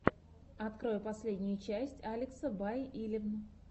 открой последнюю часть алекса бай илевн